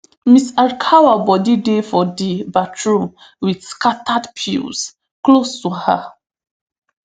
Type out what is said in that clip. ms arakawa body dey for di bathroom wit scattered pills close to her